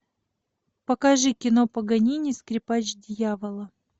покажи кино паганини скрипач дьявола